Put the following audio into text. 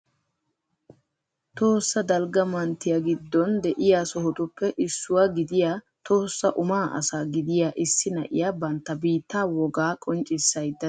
Tohossa dalgga manttiya giddon de'iya sohotuppe issuwa gidiyaa Tohossa Umaa asa gidiyaa issi na'iyaa bantta biitta wogaa qonccissaydda de'iyaata beettawus.